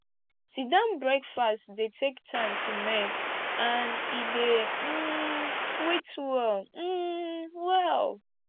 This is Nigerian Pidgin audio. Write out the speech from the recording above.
sitdown breakfast dey take time to make and e dey um sweet well um well